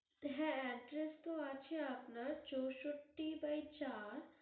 হ্যা address তো আছে আপনার চৌষট্টি বাই চার